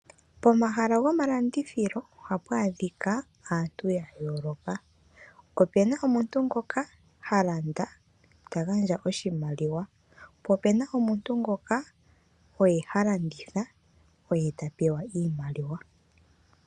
Pomahala gomalandithilo ohapu adhika aantu ya yooloka. Opuna omuntu ngoka ha landa ta gandja oshimaliwa. Po opuna omuntu ngoka oye ha landitha oye ta pewa iimaliwa.